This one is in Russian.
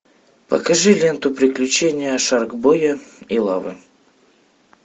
покажи ленту приключения шаркбоя и лавы